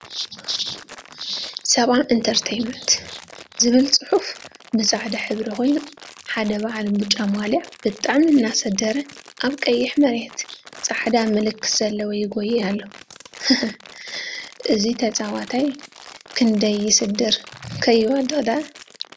70 ኢንተርተይመንት ዝብል ፅሑፍ ብፃዕዳ ሕብሪ ኮይኑ፤ ሓደ በዓል ብጫ ማልያ ብጣዕሚ አናሰደረ አብ ቀይሕ መሬት ፃዕዳ ምልክተ ዘለዎ ይጎይይ አሎ፡፡ ሃሃሃ… እዚ ተጫወታይ ክንደይ ይስድር ከይወድቅ ደአ፡፡